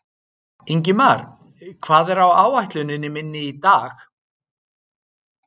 Ingimar, hvað er á áætluninni minni í dag?